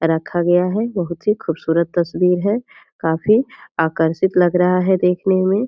रखा गया है बहुत ही खूबसूरत तस्वीर है काफी आकर्षित लग रहा है देखने मे |